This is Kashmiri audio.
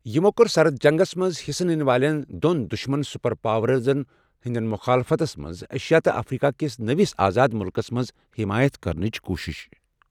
یِمو کٔر سرد جنٛگس منٛز حِصہٕ نِنہٕ والٮ۪ن دۄن دُشمن سُپرَ پاوَرزَن ہٕنٛدِس مخالفتس منٛز ایشیا تہٕ افریقہ کِس نٔوِس آزاد مُلکس منٛز حمایت کرنٕچ کوٗشِش۔